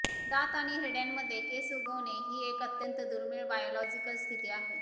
दात आणि हिरड्यांमध्ये केस उगवणे ही एक अत्यंत दुर्मिळ बायोलॉजिकल स्थिती आहे